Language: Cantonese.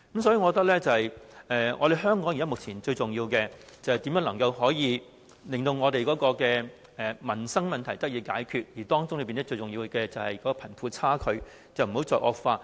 所以，我認為香港目前最重要的就是研究如何解決民生問題，當中最重要的就是不要讓貧富差距繼續惡化。